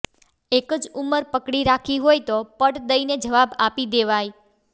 એક જ ઉંમર પકડી રાખી હોય તો પટ દઈને જવાબ આપી દેવાય